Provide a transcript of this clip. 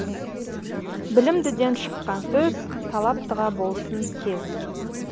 білімдіден шыққан сөз талаптыға болсын кез